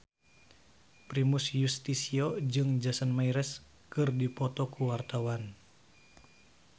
Primus Yustisio jeung Jason Mraz keur dipoto ku wartawan